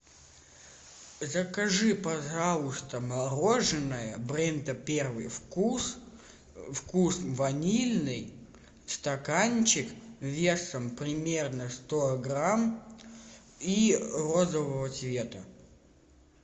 закажи пожалуйста мороженое бренда первый вкус вкус ванильный стаканчик весом примерно сто грамм и розового цвета